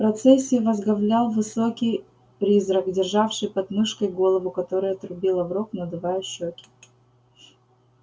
процессию возглавлял высокий призрак державший под мышкой голову которая трубила в рог надувая щёки